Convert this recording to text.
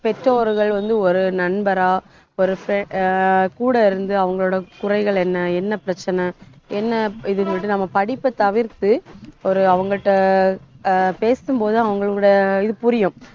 பெற்றோர்கள் வந்து, ஒரு நண்பரா ஒரு fri~ அஹ் கூட இருந்து அவங்களோட குறைகள் என்ன என்ன பிரச்சனை என்ன இதுங்கறது நம்ம படிப்பை தவிர்த்து ஒரு அவங்கட்ட ஆஹ் பேசும்போது அவங்களோட இது புரியும்